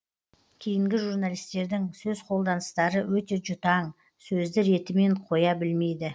кейінгі журналистердің сөз қолданыстары өте жұтаң сөзді ретімен қоя білмейді